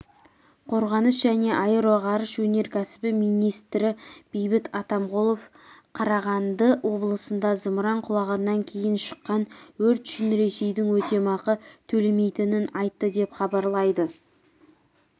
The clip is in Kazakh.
қорғаныс және аэроғарыш өнеркәсібі министрі бейбіт атамқұлов қарағанды облысында зымыран құлағаннан кейін шыққан өрт үшін ресейдің өтемақы төлемейтінін айтты деп хабарлайды